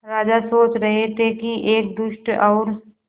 राजा सोच रहे थे कि एक दुष्ट और